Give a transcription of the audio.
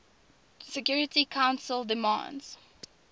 security council demands